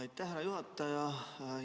Aitäh, härra juhataja!